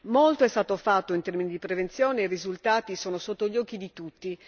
Molto è stato fatto in termini di prevenzione e i risultati sono sotto gli occhi di tutti.